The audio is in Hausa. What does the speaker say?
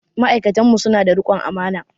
Ma'aikatan mu su na da riƙon amana